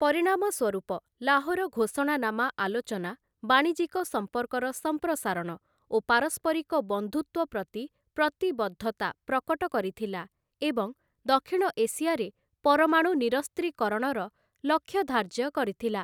ପରିଣାମ ସ୍ୱରୂପ, ଲାହୋର ଘୋଷଣାନାମା ଆଲୋଚନା, ବାଣିଜ୍ୟିକ ସମ୍ପର୍କର ସମ୍ପ୍ରସାରଣ ଓ ପାରସ୍ପରିକ ବନ୍ଧୁତ୍ୱ ପ୍ରତି ପ୍ରତିବଦ୍ଧତା ପ୍ରକଟ କରିଥିଲା ଏବଂ ଦକ୍ଷିଣ ଏସିଆରେ ପରମାଣୁ ନିରସ୍ତ୍ରୀକରଣର ଲକ୍ଷ୍ୟ ଧାର୍ଯ୍ୟ କରିଥିଲା ।